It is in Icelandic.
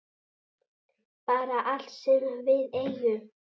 Bara allt sem við eigum.